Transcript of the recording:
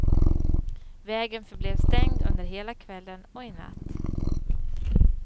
Vägen förblev stängd under hela kvällen och i natt.